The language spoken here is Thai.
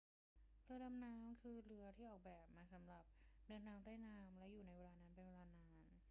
เรือดำน้ำคือเรือที่ออกแบบมาสำหรับเดินทางใต้น้ำและอยู่ในนั้นเป็นเวลานาน